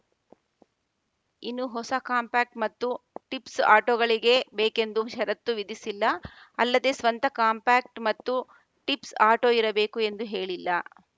ಇನ್ನು ಹೊಸ ಕಾಂಪ್ಯಾಕ್ಟ್ ಮತ್ತು ಟಿಪ್ಸ್ ಆಟೋಗಳಿಗೆ ಬೇಕೆಂದು ಷರತ್ತು ವಿಧಿಸಿಲ್ಲ ಅಲ್ಲದೇ ಸ್ವಂತ ಕಾಂಪ್ಯಾಕ್ಟ್ ಮತ್ತು ಟಿಪ್ಸ್ ಆಟೋ ಇರಬೇಕು ಎಂದು ಹೇಳಿಲ್ಲ